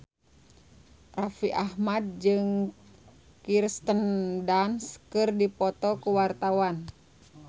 Raffi Ahmad jeung Kirsten Dunst keur dipoto ku wartawan